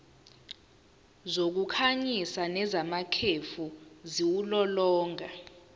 zokukhanyisa nezamakhefu ziwulolonga